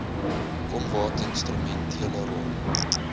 kom watinstrumentele rol